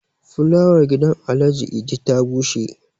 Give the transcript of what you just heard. flawar gidan Alhaji Idi ta bushe